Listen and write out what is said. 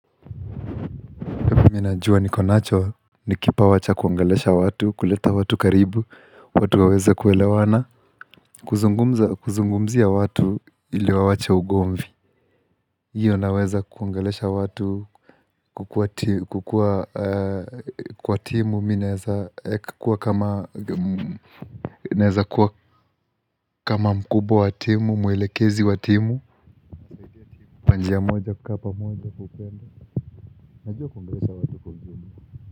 Najua niko nacho, ni kipawa cha kuongelesha watu, kuleta watu karibu, watu waweza kuelewana, kuzungumza kuzungumzia watu ili wawache ugomvi hiyo naweza kuongelesha watu kukua kwa timu, mimi naweza kuwa kama mkubwa wa timu, mwelekezi wa timu Kwa njia moja, kukaa pamoja, upendo, najua kuongelesha watu kwa ujumla.